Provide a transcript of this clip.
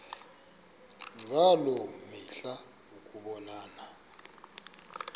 ngaloo mihla ukubonana